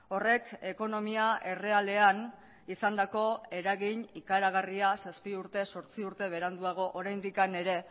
horrek ekonomia errealean izandako eragin ikaragarria zazpi urte zortzi urte beranduago oraindik ere